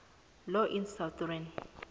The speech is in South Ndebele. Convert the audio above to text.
law in southern